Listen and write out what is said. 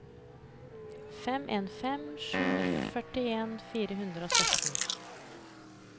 fem en fem sju førtien fire hundre og sytten